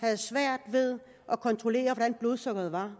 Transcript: havde svært ved at kontrollere hvordan blodsukkeret var